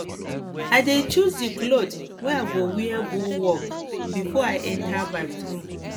i dey choose di cloth wey i go wear go work before i enta bathroom